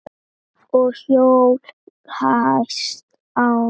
Og hló hæst sjálf.